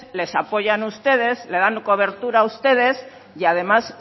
les apoyan ustedes le dan cobertura ustedes y además